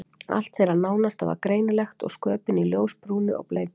Allt þeirra nánasta var greinilegt og sköpin í ljósbrúnu og bleiku.